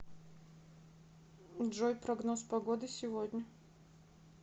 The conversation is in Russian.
джой прогноз погоды сегодня